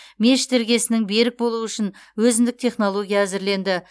мешіт іргесінің берік болуы үшін өзіндік технология әзірленді